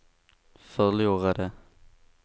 förlorade